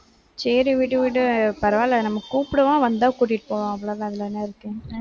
சரி விடு, விடு பரவாயில்லை நம்ம கூப்பிடுவோம் வந்தா கூட்டிட்டு போவோம் அவ்வளவுதான் அதுல என்ன இருக்கு?